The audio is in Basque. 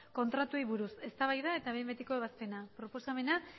kontratuei buruz eztabaida eta behin betiko ebazpena eta